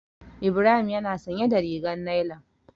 Ibrahim yana sanye da rigar nailan.